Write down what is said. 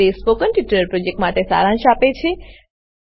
તે spoken tutorial પ્રોજેક્ટનો સારાંશ આપે છે